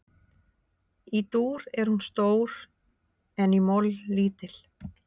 Í dúr er hún stór en í moll lítil.